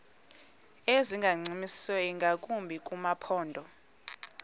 ezingancumisiyo ingakumbi kumaphondo